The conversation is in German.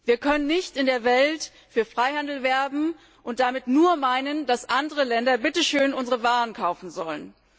Wir können nicht in der Welt für Freihandel werben und damit nur meinen, dass andere Länder bitteschön unsere Waren kaufen sollen.